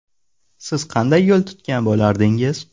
Siz qanday yo‘l tutgan bo‘lardingiz?